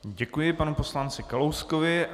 Děkuji panu poslanci Kalouskovi.